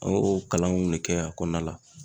An y'o kalanw ne kɛ a kɔnɔna la.